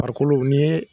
Farikolo ni